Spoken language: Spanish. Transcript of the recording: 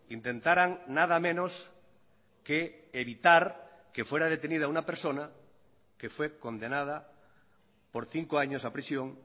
intentaran nada menos que evitar que fuera detenida una persona que fue condenada por cinco años a prisión